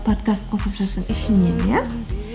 подкаст қосымшасының ішінен иә